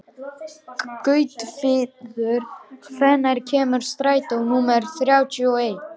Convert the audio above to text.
Gautviður, hvenær kemur strætó númer þrjátíu og eitt?